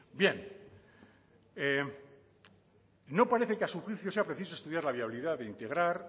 bien no parece que a su juicio sea preciso estudiar la viabilidad de integrar